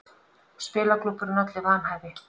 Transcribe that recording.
Spilaklúbburinn olli vanhæfi